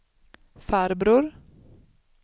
farbror